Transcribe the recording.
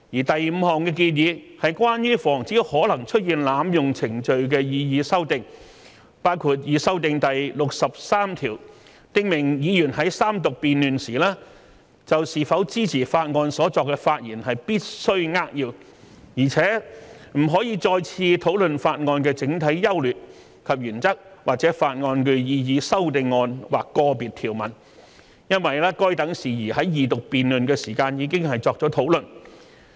第五項建議是關於防止可能出現濫用程序的擬議修訂，包括擬修訂第63條，訂明議員在三讀辯論時就是否支持法案所作的發言必須扼要，而且不可再次討論法案的整體優劣及原則或法案的擬議修正案或個別條文，因該等事宜在二讀辯論時已作討論。